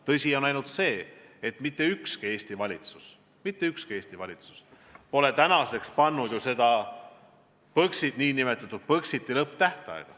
Tõsi on aga see, et mitte ükski Eesti valitsus pole seni määranud nn Põxiti lõpptähtaega.